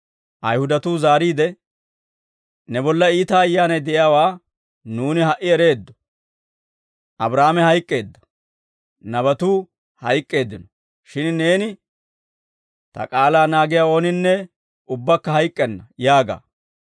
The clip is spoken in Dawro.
Ayihudatuu zaariide, «Ne bolla iita ayyaanay de'iyaawaa nuuni ha"i ereeddo. Abraahaame hayk'k'eedda; nabatuu hayk'k'eeddino; shin neeni, ‹Ta k'aalaa naagiyaa ooninne ubbakka hayk'k'enna› yaaga.